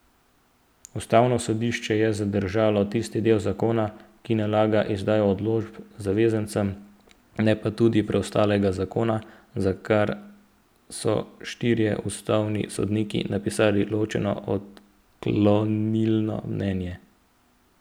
Ustavno sodišče je zadržalo tisti del zakona, ki nalaga izdajo odločb zavezancem, ne pa tudi preostalega zakona, za kar so štirje ustavni sodniki napisali ločeno odklonilno mnenje.